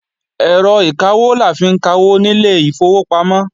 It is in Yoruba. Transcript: Ẹ̀rọ ìkawó la fi ń kawó nílé ìfowópamọ́